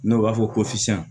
N'o b'a fɔ ko fisa